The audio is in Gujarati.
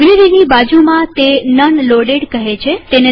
લાઈબ્રેરીની બાજુમાં તે નન લોડેડ કહે છે